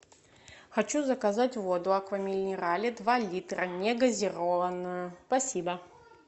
хочу заказать воду аква минерале два литра негазированную спасибо